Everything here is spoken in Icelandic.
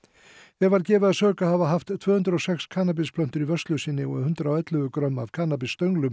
þeim var gefið að sök að hafa haft tvö hundruð og sex í vörslu sinni og hundrað og ellefu grömm af